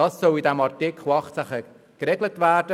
Das soll in Artikel 18 geregelt werden.